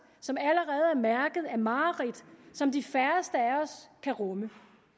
som allerede er mærket af mareridt som de færreste af os kan rumme